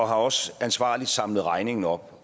har også ansvarligt samlet regningen op